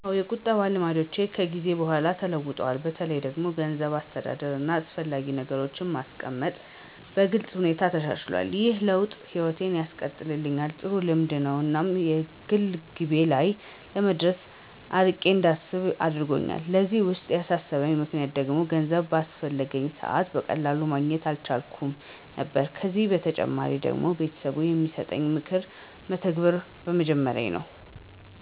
አዎን፣ የቁጠባ ልማዶቼ ከጊዜ በኋላ ተለውጠዋል። በተለይም እንደ ገንዘብ አስተዳደር፣ እና አስፈላጊ ነገሮችን ማስቀመጥ በግልጽ ሁኔታ ተሻሽሎል። ይህ ለውጥ ህይወቴን ያቀለልኝ ጥሩ ልምድ ነው እና የግል ግቤ ላይ ለመድረስ አርቄ እንዳስብ አደረጎኛል። ለዚህ ለውጥ ያነሳሳኝ ምክንያት ደግሞ ገንዘብ ባስፈለገኝ ሰዐት በቀላሉ ማግኘት አልቻልኩም ነበር ከዚ በተጨማሪ ደግሞ ቤተሰብ የሚሰጠኝን ምክር መተግበር በመጀመሬ ነው።